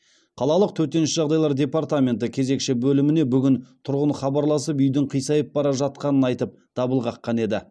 қалалық төтенше жағдайлар департаменті кезекші бөліміне бүгін тұрғын хабарласып үйдің қисайып бара жатқанын айтып дабыл қаққан еді